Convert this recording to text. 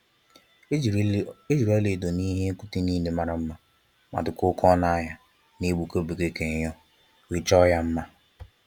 Ejiri ọla edo n'ihe okwute nile mara mma ma dikwa oke ọnụ ahịa n'egbuke egbuke ka enyo, wee chọọ ya mma.